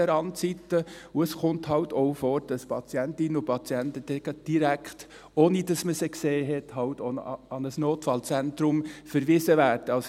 Auch kommt es halt vor, dass Patientinnen und Patienten direkt, ohne dass man sie gesehen hat, an ein Notfallzentrum verwiesen werden.